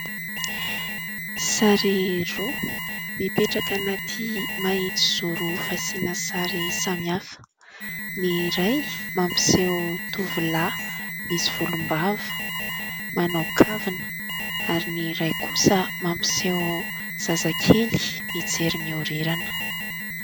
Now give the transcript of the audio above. Sary roa mipetraka anaty mahitsy zoro fasiana sary samihafa. Ny iray mampiseho tovolahy misy volom-bava, manao kavina ary ny iray kosa mampiseho zazakely mijery mihorirana.